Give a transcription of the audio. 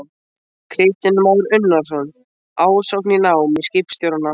Kristján Már Unnarsson: Ásókn í nám í skipstjórnarnám?